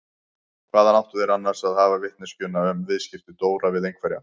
Hvaðan áttu þeir annars að hafa vitneskjuna um viðskipti Dóra við einhverja?